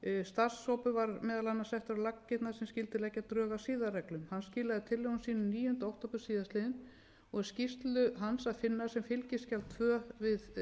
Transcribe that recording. starfshópur var meðal annars settur á laggirnar sem skyldi leggja drög að siðareglum hann skilaði tillögum sínum níunda október síðastliðinn og er skýrslu hans að finna sem fylgiskjal tvö við frumvarpið sem hér